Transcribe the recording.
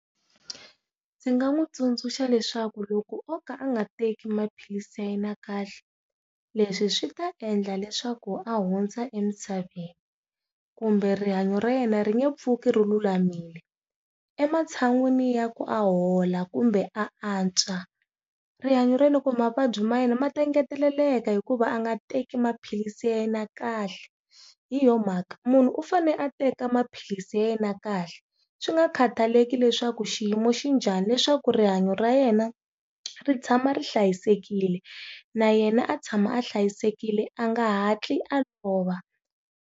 Ndzi nga n'wi tsundzuxa leswaku loko o ka a nga teki maphilisi ya yena kahle leswi swi ta endla leswaku a hundza emisaveni kumbe rihanyo ra yena ri nge pfuki ri lulamile, ematshan'wini ya ku a hola kumbe a antswa rihanyo ra yena kumbe mavabyi ma yena ma ta engeteleleke hikuva a nga teki maphilisi ya na kahle, hi yo mhaka munhu u fane a teka maphilisi ya yena kahle swi nga khataleki leswaku xiyimo xi njhani leswaku rihanyo ra yena ri tshama ri hlayisekile na yena a tshama a hlayisekile a nga hatli a lova.